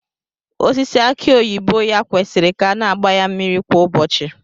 Osisi aki oyibo ya kwesịrị ka a na-agba ya mmiri kwa ụbọchị